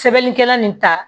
Sɛbɛnnikɛla nin ta